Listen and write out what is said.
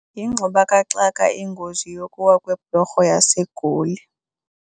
Yingxubakaxaka ingozi yokuwa kweblorho yaseGoli.